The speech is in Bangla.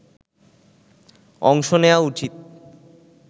অংশ নেয়া উচিত